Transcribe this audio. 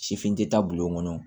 Sifin tɛ taa bulon kɔnɔ